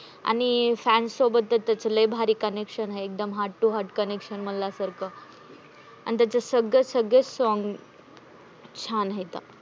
आणि fans सोबत तर त्याचं लय भारी connection आहे. एकदम heart to heart म्हणल्यासारखं, आणि त्याचे सग्गे सगळे songs छान हायत.